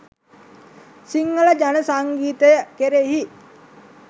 සිංහල ජන සංගීතය කෙරෙහි